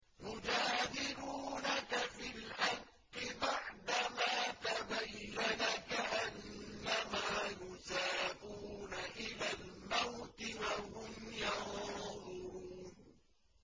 يُجَادِلُونَكَ فِي الْحَقِّ بَعْدَمَا تَبَيَّنَ كَأَنَّمَا يُسَاقُونَ إِلَى الْمَوْتِ وَهُمْ يَنظُرُونَ